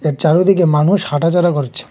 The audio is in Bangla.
এর চারুদিকে মানুষ হাঁটাচলা করছে।